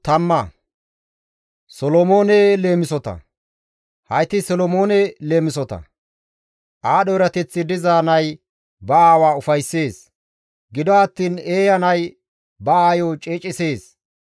Hayti Solomoone leemisota. Aadho erateththi diza nay ba aawa ufayssees; gido attiin eeya nay ba aayo ceecisees.